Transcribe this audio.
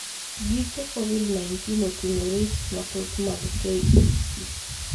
Giko Covid-19 oting'o risks mathoth mag KEC.